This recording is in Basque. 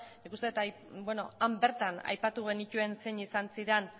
nik uste dut han bertan aipatu genituen zein izan ziren